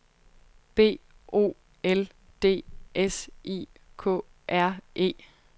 B O L D S I K R E